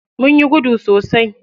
Munyi gudu sosai.